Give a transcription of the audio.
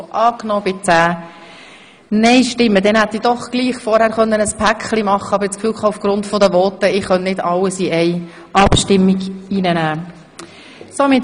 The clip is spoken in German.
Demnach hätte ich gleichwohl alles in einem Paket behandeln können, aber aufgrund der Voten war ich der Meinung, ich könne nicht alles in einer Abstimmung durchführen lassen.